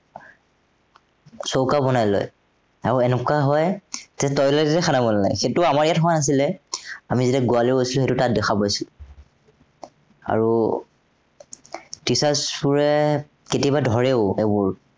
চৌকা বনাই লয়। আৰু এনেকুৱা হয়, যে toilet তে বনায়, সেইটো আমাৰ ইয়াত হোৱা নাছিলে, আমি যেতিয়া গোৱালৈ গৈছিলো, সেইতো তাত দেখা পাইছো। আৰু teachers বোৰে কেতিয়াবা ধৰেও সেইবোৰ।